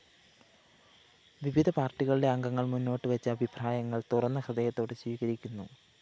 വിവിധ പാര്‍ട്ടികളുടെ അംഗങ്ങള്‍ മുന്നോട്ടുവെച്ച അഭിപ്രായങ്ങള്‍ തുറന്ന ഹൃദയത്തോടെ സ്വീകരിക്കുന്നു